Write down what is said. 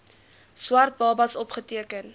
swart babas opgeteken